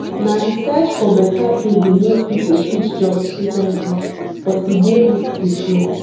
na di search for beta pay dey make pipo switch jobs frequently but e dey risky too